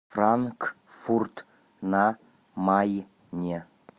франкфурт на майне